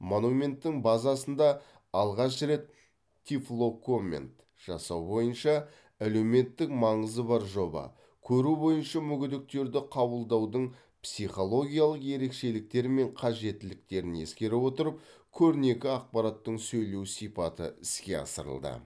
монументтің базасында алғаш рет тифлокоммент жасау бойынша әлеуметтік маңызы бар жоба көру бойынша мүгедектерді қабылдаудың психологиялық ерекшеліктері мен қажеттіліктерін ескере отырып көрнекі ақпараттың сөйлеу сипаты іске асырылды